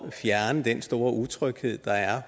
at fjerne den store utryghed der er